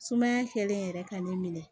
Sumaya kɛlen yɛrɛ ka ne minɛ